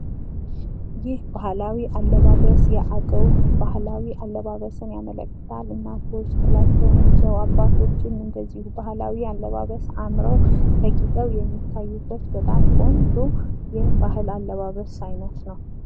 ይህ ባህላዊ አለባበስ የአገዉ ባህላዊ አለባበስን ያመላክታል ፤ እናቶች ጥላቸውን ይዘው፣ አባቶችም እንደዚሁ ባህላዊ አለባበስ አምረዉ፣ ተጊጠዉ የሚታዩበት በጣም ቆንጆ የባህል አለባበስ አይነት ነው።